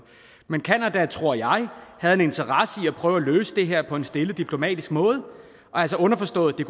men canada tror jeg havde en interesse i at prøve at løse det her på en stille diplomatisk måde altså underforstået at det